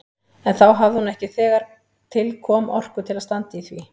En þá hafði hún ekki þegar til kom orku til að standa í því.